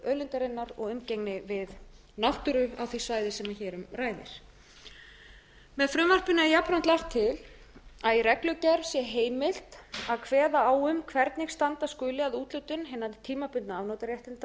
auðlindarinnar og umgengni við náttúru á því svæði sem hér um ræðir með frumvarpinu er jafnframt lagt til að í reglugerð sé heimilt að kveða á um hvernig standa skuli að úthlutun hinna tímabundnu afnotaréttinda þegar um er að